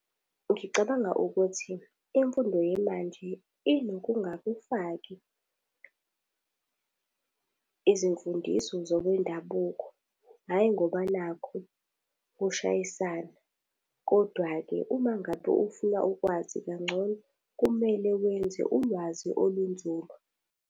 Ngicabanga ukuthi, imfundo yemanje inokungakufaki izimfundiso zokwendabuko, hhayi ngoba nakhu kushayisana. Kodwa-ke uma ngabe ufuna ukwazi kangcono kumele wenze ulwazi olunzulu.